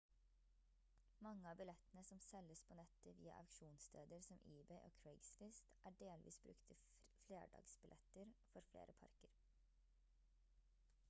mange av billettene som selges på nettet via auksjonssteder som ebay og craigslist er delvis brukte flerdagsbilletter for flere parker